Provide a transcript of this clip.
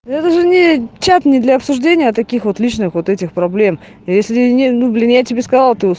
даже нечётные для обсуждения таких вот личных вот этих проблем если не ну блин я тебе скажу